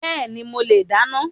Bẹ́ẹ̀ni, mo le dáná